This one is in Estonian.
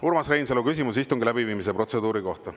Urmas Reinsalu, küsimus istungi läbiviimise protseduuri kohta.